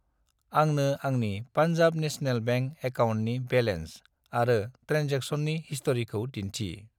आंनो आंनि पान्जाब नेसनेल बेंक एकाउन्टनि बेलेन्स आरो ट्रेनजेक्सननि हिस्ट'रिखौ दिन्थि।